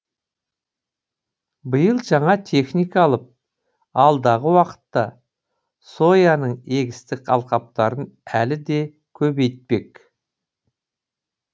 биыл жаңа техника алып алдағы уақытта сояның егістік алқаптарын әлі де көбейтпек